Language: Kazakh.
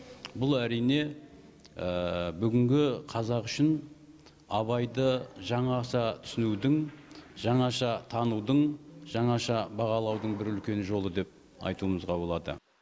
бұл әрине бүгінгі қазақ үшін абайды жаңаша түсінудің жаңаша танудың жаңаша бағалаудың бір үлкен жолы деп айтуымызға болады